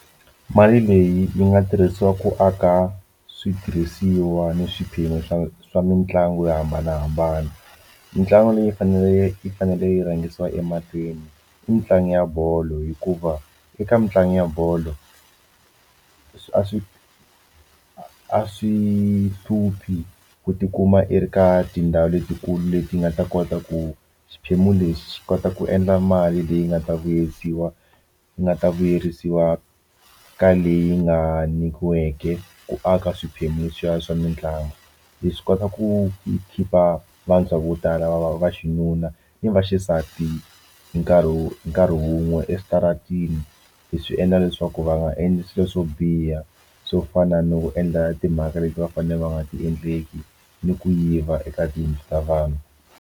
Mali leyi yi nga tirhisiwa ku aka switirhisiwa ni swiphemu swa swa mitlangu yo hambanahambana mitlangu leyi faneleke yi fanele yi rhangisiwa emahlweni i mitlangu ya bolo hikuva eka mitlangu ya bolo a swi a swi hluphi ku tikuma i ri ka tindhawu letikulu leti nga ta kota ku xiphemu lexi xi kota ku endla mali leyi nga ta vuyisiwa i nga ta vuyerisiwa ka leyi nga nyikiweke ku aka swiphemu swa swa mitlangu leswi swi kota ku khipha vantshwa vo tala va va va xinuna ni vaxisati hi nkarhi wu hi nkarhi wun'we eswitarateni hi swi endla leswaku va nga endli swilo swo biha swo fana ni ku endla timhaka leti va fanele va nga ti endleki ni ku yiva eka tiyindlu ta vanhu.